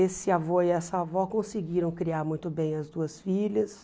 Esse avô e essa avó conseguiram criar muito bem as duas filhas.